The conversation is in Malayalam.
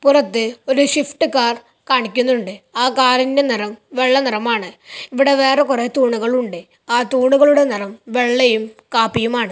പുറത്ത് ഒരു ഷിഫ്റ്റ് കാർ കാണിക്കുന്നുണ്ട് ആ കാറിന്റെ നിറം വെള്ള നിറമാണ് ഇവിടെ വേറെ കുറെ തൂണുകൾ ഉണ്ട് ആ തൂണുകളുടെ നിറം വെള്ളയും കാപ്പിയും ആണ്.